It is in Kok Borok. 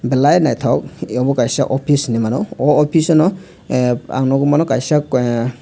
balai nythok omo kaisa oppis hinemano o oppis o nw ah ang nugui mano kaisa ahh.